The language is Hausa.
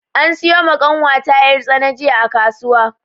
An siyo ma ƙanwata yar' tsana jiya a kasuwa.